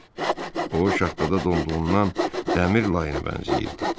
O şaxtada donduğundan dəmir layına bənzəyirdi.